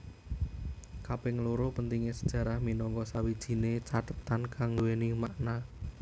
Kaping loro pentingé sejarah minangka sawijine cathetan kang nduwèni makna